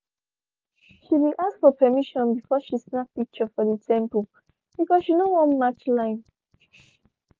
she been ask for permission before she snap picture for the temple because she no wan match line